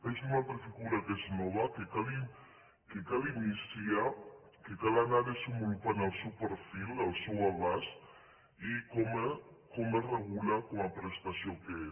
és una altra figura que és nova que cal iniciar que cal anar desenvolupant ne el perfil el seu abast i com es regula com a prestació que és